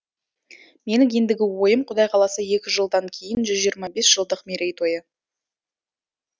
менің ендігі ойым құдай қаласа екі жылдан кейін жүз жиырма бес жылдық мерейтойы